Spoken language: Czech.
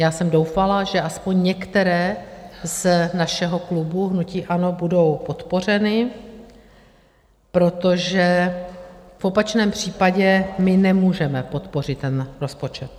Já jsem doufala, že aspoň některé z našeho klubu hnutí ANO budou podpořeny, protože v opačném případě my nemůžeme podpořit ten rozpočet.